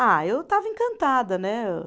Ah, eu estava encantada, né?